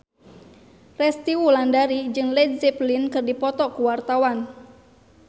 Resty Wulandari jeung Led Zeppelin keur dipoto ku wartawan